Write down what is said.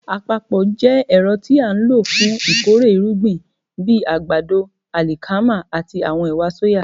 Àpapọ̀ jẹ́ ẹ̀rọ tí a ń lò fún ìkórè irúgbìn bíi àgbàdo, àlìkámà àti àwọn ẹ̀wà sóyà.